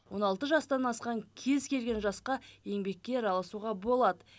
он алты жастан асқан кез келген жасқа еңбекке араласуға болады